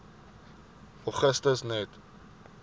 augustus net